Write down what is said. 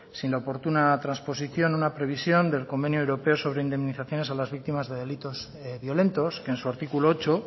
sin oportuna transposición una previsión del convenio europeo sobre indemnizaciones a las víctimas de delitos violentos que en su artículo ocho